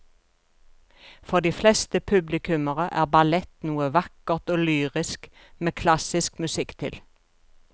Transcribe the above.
For de fleste publikummere er ballett noe vakkert og lyrisk med klassisk musikk til.